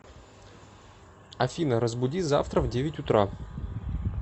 афина разбуди завтра в девять утра